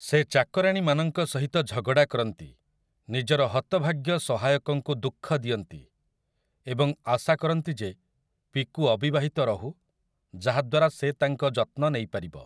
ସେ ଚାକରାଣୀମାନଙ୍କ ସହିତ ଝଗଡ଼ା କରନ୍ତି, ନିଜର ହତଭାଗ୍ୟ ସହାୟକଙ୍କୁ ଦୁଃଖ ଦିଅନ୍ତି ଏବଂ ଆଶା କରନ୍ତି ଯେ ପିକୁ ଅବିବାହିତ ରହୁ ଯାହାଦ୍ୱାରା ସେ ତାଙ୍କ ଯତ୍ନ ନେଇପାରିବ ।